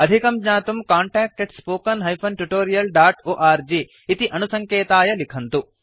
अधिकं ज्ञातुं contactspoken tutorialorg इति अणुसङ्केताय लिखन्तु